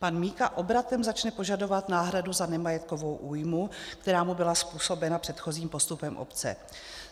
Pan Mika obratem začne požadovat náhradu za nemajetkovou újmu, která mu byla způsobena předchozím postupem obce.